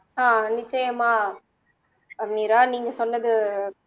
ஆஹ் நிச்சயமா மீரா நீங்க சொன்னது